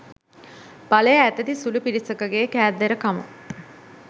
බලය අතැති සුළු පිරිසකගේ කෑදරකම